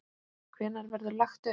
Hvenær verður lagt upp?